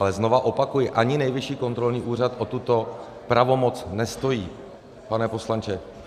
Ale znova opakuji, ani Nejvyšší kontrolní úřad o tuto pravomoc nestojí, pane poslanče.